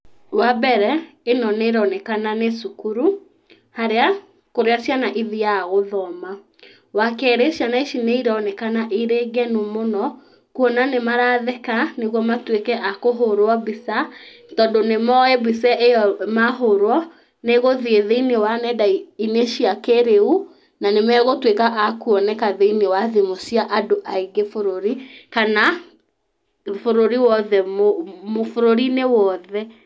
Wambere ĩno nĩ ĩronekana nĩ cukuru harĩa, kũrĩa ciana ithiaga gũthoma, wakerĩ ciana ici nĩ ironekana irĩ ngenu mũno kuona nĩ maratheka nĩguo matuĩke a kũhũrwo mbica tondũ nĩ moĩ mbica ĩyo mahũrwo nĩ ĩgũthiĩ thĩiniĩ wa nendainĩ cia kĩrĩu na nĩ magũtuĩka a kũoneka thĩiniĩ wa thimũ cia andũ aingĩ bũrũri kana bũrũri-inĩ wothe.